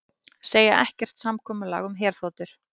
Segja ekkert samkomulag um herþotur